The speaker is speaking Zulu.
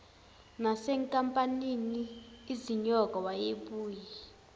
nasenkampanini izinyoka wayebuye